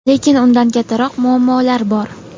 lekin undan kattaroq muammolar bor.